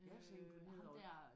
Jeg tænker udover